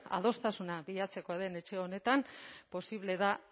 adostasuna bilatzeko den etxe honetan posible da